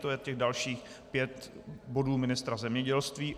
To je těch dalších pět bodů ministra zemědělství.